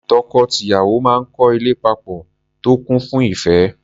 Tọkọ-tìyàwó máa ń kọ́ ilé papọ̀ tó kún fún ìẹ́.